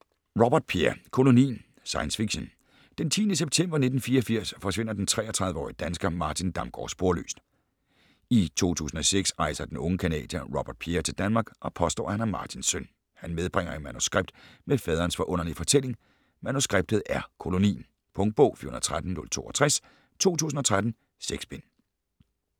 Robert, Pierre: Kolonien Science fiction. Den 10. september 1984 forsvinder den 33-årige dansker Martin Damgaard sporløst. I 2006 rejser den unge canadier Pierre Robert til Danmark og påstår at han er Martins søn. Han medbringer et manuskript med faderens forunderlige fortælling. Manuskriptet er Kolonien. Punktbog 413062 2013. 6 bind.